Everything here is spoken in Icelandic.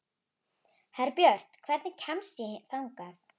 Herbjört, hvernig kemst ég þangað?